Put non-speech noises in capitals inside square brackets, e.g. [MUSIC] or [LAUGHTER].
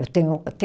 Eu tenho [UNINTELLIGIBLE]